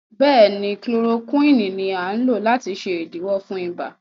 béèni Chloroquine ní a lò láti ṣe idiwọ fún ibà.